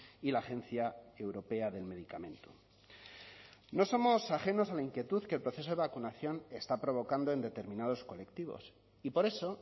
y la agencia europea del medicamento no somos ajenos a la inquietud que el proceso de vacunación está provocando en determinados colectivos y por eso